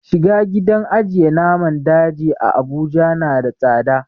Shiga gidan ajiye naman daji a abuja na da tsada